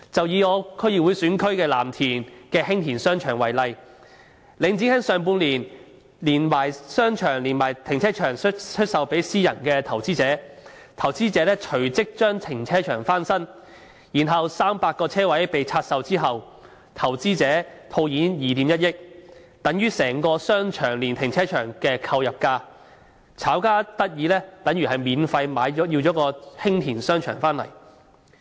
以我的區議會選區藍田的興田商場為例，領展在今年上半年將商場連停車場出售予私人投資者，投資者隨即將停車場翻新 ，300 個車位被拆售後，投資者套現2億 1,000 萬元，等於整個商場連停車場的購入價，即是炒家免費購入興田商場。